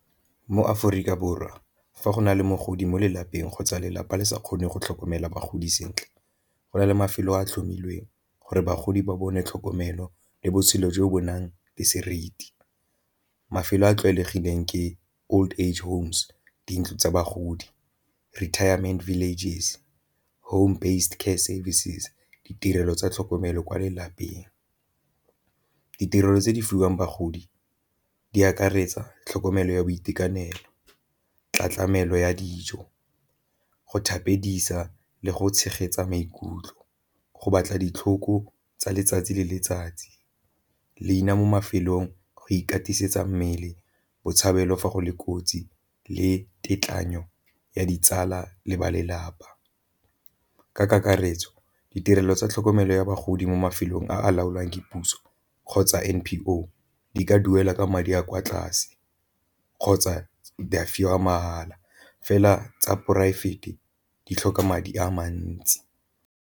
Mo Aforika Borwa fa go na le mogodi mo lelapeng kgotsa lelapa le sa kgone go tlhokomela bagodi sentle, go na le mafelo a a tlhomilweng gore bagodi ba bone tlhokomelo le botshelo jo bo nang le seriti. Mafelo a a tlwaelegileng ke old age homes di ntlo tsa bagodi, retirement villages, home based care services, ditirelo tsa tlhokomelo kwa lelapeng. Ditirelo tse di fiwang bagodi di akaretsa tlhokomelo ya boitekanelo, ya dijo, go thapedisa le go tshegetsa maikutlo, go batla ditlhoko tsa letsatsi le letsatsi, leina mo mafelong go ikatisetsa mmele, botshabelo fa go le kotsi le tekanyo ya ditsala le ba lelapa. Ka kakaretso ditirelo tsa tlhokomelo ya bogodimo mo mafelong a a laolwang ke puso kgotsa N_P_O di ka duela ka madi a kwa tlase kgotsa di a fiwa mahala fela tsa poraefete di tlhoka madi a mantsi.